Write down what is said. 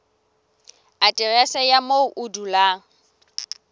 aterese ya moo o dulang